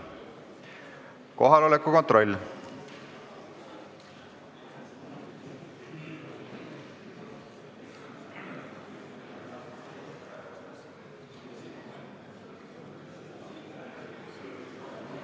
Kohaloleku kontroll.